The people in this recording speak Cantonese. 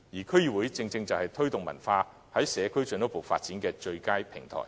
區議會正正就是在社區進一步推動文化藝術的最佳平台。